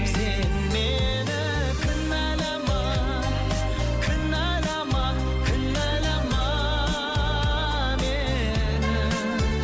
сен мені кінәлама кінәлама кінәлама мені